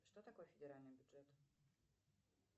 что такое федеральный бюджет